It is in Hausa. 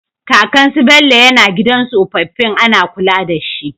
Kakan su Bello yAna gidan tsofafin Ana kula dashi